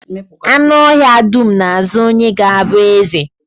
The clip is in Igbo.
Anụ ọhịa dum na-azo onye ga-abụ eze